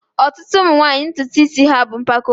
ọtụtụ ụmụ nwanyị ntutu isi ha bụ mpako ha